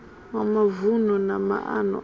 wa mavunu na maana apo